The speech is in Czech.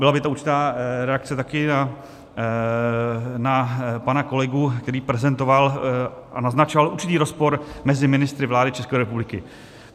Byla by to určitá reakce taky na pana kolegu, který prezentoval a naznačoval určitý rozpor mezi ministry vlády České republiky.